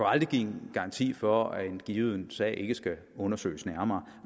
aldrig give en garanti for at en given sag ikke skal undersøges nærmere